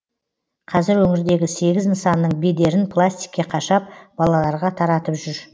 қазір өңірдегі сегіз нысанның бедерін пластикке қашап балаларға таратып жүр